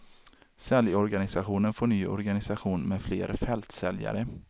Säljorganisationen får ny organisation med fler fältsäljare.